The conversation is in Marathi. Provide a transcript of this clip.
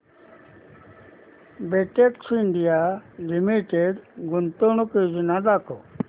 बेटेक्स इंडिया लिमिटेड गुंतवणूक योजना दाखव